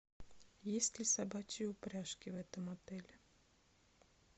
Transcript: есть ли собачьи упряжки в этом отеле